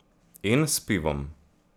In s pivom!